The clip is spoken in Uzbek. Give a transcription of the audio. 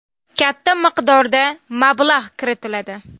Katta miqdorda mablag‘ kiritiladi.